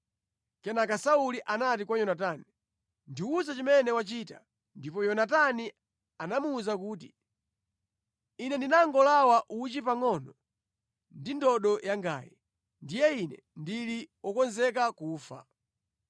Kenaka Sauli anati kwa Yonatani, “Ndiwuze chimene wachita.” Ndipo Yonatani anamuwuza kuti, “Ine ndinangolawa uchi pangʼono ndi ndodo yangayi. Ndiye ine ndili wokonzeka kufa.”